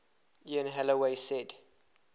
ian holloway said